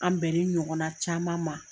An bɛn ni ɲɔgɔnna caman ma.